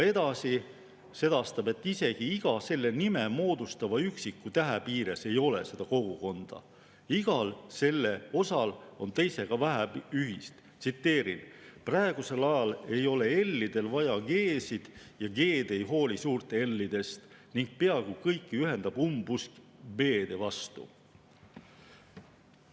Edasi sedastab ta, et isegi iga seda moodustava üksiku tähe piires ei ole seda kogukonda, igal selle osal on teisega vähe ühist: "Praegusel ajal ei ole L‑idel vaja G‑sid ja G‑d ei hooli suurt L‑idest ning peaaegu kõiki ühendab umbusk B‑de vastu.